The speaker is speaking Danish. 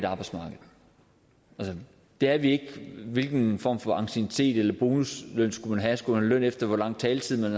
arbejdsmarked det er vi ikke hvilken form for anciennitet eller bonusløn skulle man have skulle man have løn efter hvor lang taletid man